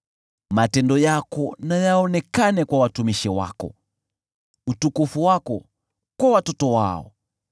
Matendo yako na yaonekane kwa watumishi wako, utukufu wako kwa watoto wao.